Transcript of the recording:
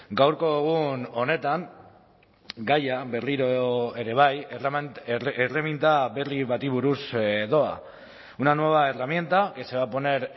gaurko egun honetan gaia berriro ere bai erreminta berri bati buruz doa una nueva herramienta que se va a poner